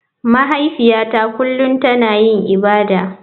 Mahaifiyata kullum tana yin ibada.